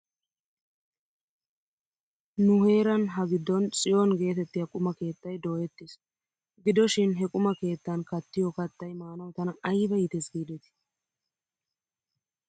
Nu heeran ha giddon tsiyoon geetettiyaa quma keettay dooyettis. Gido shin he quma keettan kattiyoo kattay maanaw tana ayba iites giidetii?